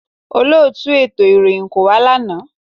Olóòtù ètò ìròyìn kò wá lánàá